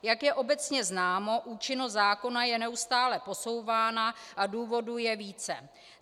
Jak je obecně známo, účinnost zákona je neustále posouvána a důvodů je více.